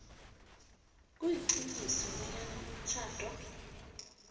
kuyaqiniswa bonyana umtjhado